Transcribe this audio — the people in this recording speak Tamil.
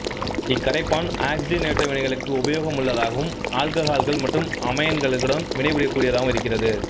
இக்கரைப்பான் ஆக்சிஜனேற்ற வினைகளுக்கு உபயோகமுள்ளதாகவும் ஆல்கஹால்கள் மற்றும் அமைன்களுடன் வினைபுரியக்கூடியதாகவும் இருக்கிறது